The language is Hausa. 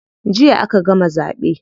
Jiya aka gama zaɓe.